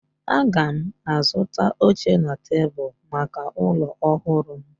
Aga m azụta oche na tebụl maka ụlọ ọhụrụ m